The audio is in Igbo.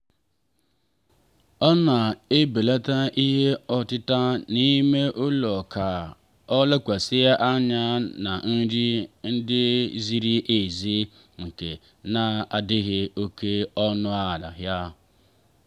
ọ na-ebelata ihe ọtịta n'ime ụlọ ka ọ lekwasị anya na nri ndị ziri ezi nke na-adịghị oke ọnụ ahịa.